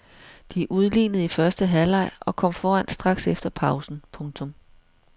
De udlignede i første halvleg og kom foran straks efter pausen. punktum